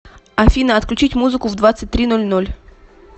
афина отключить музыку в двадцать три ноль ноль